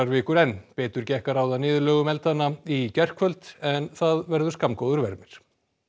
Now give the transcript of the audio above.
vikur enn betur gekk að ráða niðurlögum eldanna í gærkvöld en það verður skammgóður vermir